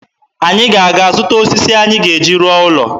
Anyị ga-aga zụta osisi anyị ga-eji rụọ ụlọ.